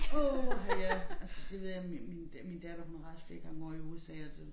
Åha ja altså det ved jeg min min min datter hun har rejst flere gange ovre i USA og det